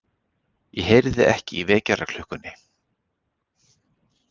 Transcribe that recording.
Ég heyrði ekki í vekjaraklukkunni.